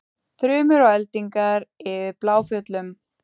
Þrumur og eldingar yfir Bláfjöllum